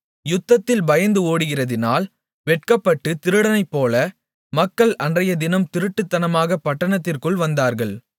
யுத்தத்தில் பயந்து ஓடுகிறதினால் வெட்கப்பட்டுத் திருடனைப்போல மக்கள் அன்றையதினம் திருட்டுத்தனமாக பட்டணத்திற்குள் வந்தார்கள்